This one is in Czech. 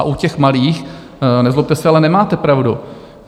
A u těch malých, nezlobte se, ale nemáte pravdu.